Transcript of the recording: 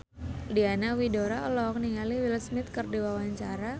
Diana Widoera olohok ningali Will Smith keur diwawancara